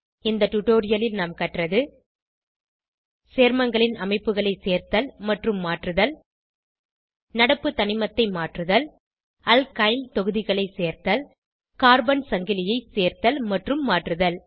இந்த டுடோரியலில் நாம் கற்றது சேர்மங்களின் அமைப்புகளை சேர்த்தல் மற்றும் மாற்றுதல் நடப்பு தனிமத்தை மாற்றுதல் அல்கைல் தொகுதிகளை சேர்த்தல் கார்பன் சங்கிலியை சேர்த்தல் மற்றும் மாற்றுதல்